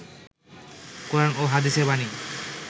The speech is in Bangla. কোরআন ও হাদীসের বাণী